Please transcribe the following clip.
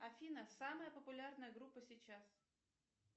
афина самая популярная группа сейчас